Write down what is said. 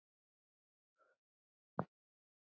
Jens og Anna Rósa skildu.